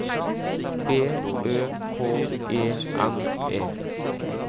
B Ø K E N E